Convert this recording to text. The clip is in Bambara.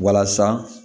Walasa